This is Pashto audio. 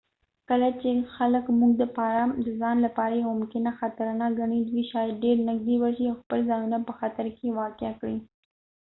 کله چې خلک موږ د ځان لپاره یو ممکنه خطر نه ګڼی دوي شاید ډیر نږدې ورشي او خپل ځانونه په خطر کې واقع کړي